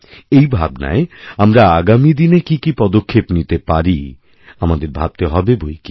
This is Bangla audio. এই ভাবনায় আমরা আগামী দিনে কি কি পদক্ষেপ নিতে পারি আমাদের ভাবতে হবে বৈকি